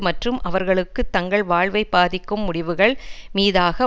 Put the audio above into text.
மற்றும் அவர்களுக்கு தங்கள் வாழ்வை பாதிக்கும் முடிவுகள் மீதாக